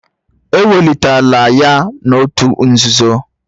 Ewelitela ya n'òtù nzuzo